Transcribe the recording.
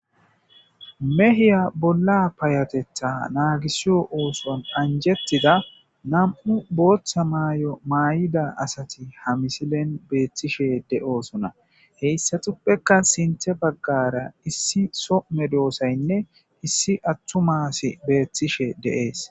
mehiya bolla payatetha naagisiyo ooson anjettida nam7u booththa maay7o maay7ida asati ha misilen beettishe de7oosona heyssatuppeka sinthe baggara issi some doosaynne issi attu maasi beettishe deees